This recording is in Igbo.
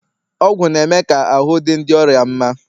ọgwụ na-eme ka ahụ́ dị ndị ọrịa mma